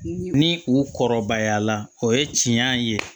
Ni u kɔrɔbayala o ye tiɲɛ ye